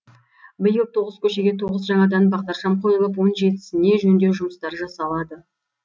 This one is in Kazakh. биыл тоғыз көшеге тоғыз жаңадан бағдаршам қойылып он жетісіне жөндеу жұмыстары жасалады